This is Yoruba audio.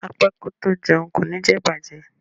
A pẹ́ kó tó jẹun kò ní jẹ bàjẹ́.